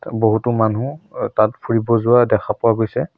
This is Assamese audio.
বহুতো মানুহ তাত ফুৰিব যোৱা দেখা পোৱা গৈছে।